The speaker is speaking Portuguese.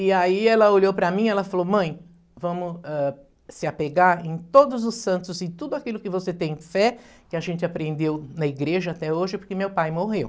E aí ela olhou para mim e falou, mãe, vamos, eh, se apegar em todos os santos, em tudo aquilo que você tem fé, que a gente aprendeu na igreja até hoje, porque meu pai morreu.